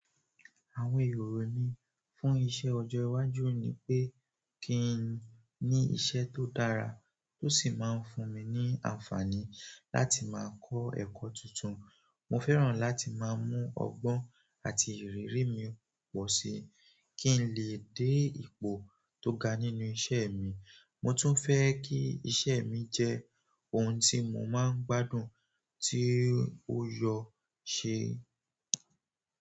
Àwọn ìròrò mi fún iṣẹ́ ọjọ́ iwájú ni pé kí n ní iṣẹ́ tó dára, tó sì máa ń fún mi ní àǹfààní láti máa kọ́ ẹ̀kọ́ tuntun. Mo fẹ́ràn láti máa mú ọgbọ́n àti ìrírí mi pọ̀ sí i, kí n lè dé ipò tó ga nínú iṣẹ́ mi. Mo tún fẹ́ kí iṣẹ́ mi jẹ́ ohun tí mo máa ń gbádùn tí ó yọ ṣe.